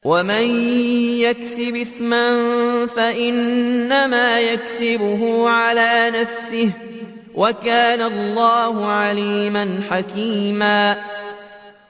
وَمَن يَكْسِبْ إِثْمًا فَإِنَّمَا يَكْسِبُهُ عَلَىٰ نَفْسِهِ ۚ وَكَانَ اللَّهُ عَلِيمًا حَكِيمًا